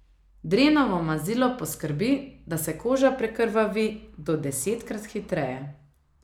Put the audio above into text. Drenovo mazilo poskrbi, da se koža prekrvavi do desetkrat hitreje.